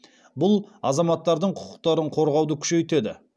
бұл азаматтардың құқықтарын қорғауды күшейтеді